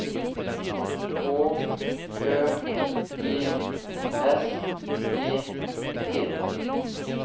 H Ø G S E T